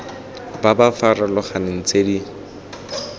ba ba farologaneng tse di